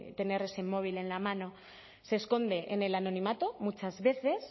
tener ese móvil en la mano se esconde en el anonimato muchas veces